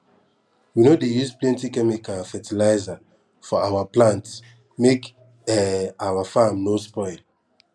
we no dey use plenty chemical fertilizer for awa plant make um awa farm no spoil